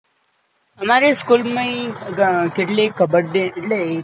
અમાર school મય કેટલી કબડ્ડી એટલે